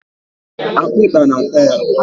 akpịkpa na-ata ya.